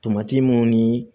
Tomati mun ni